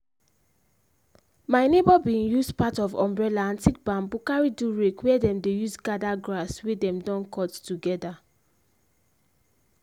my neigbour been use part of umbrella and thick bamboo carry do rake where dem dey use gather grass wey dem don cut together.